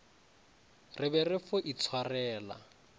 re be re fo itshwarela